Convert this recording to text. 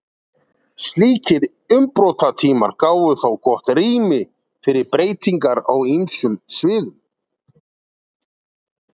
slíkir umbrotatímar gáfu þó gott rými fyrir breytingar á ýmsum sviðum